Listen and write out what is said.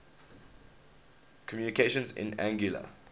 communications in anguilla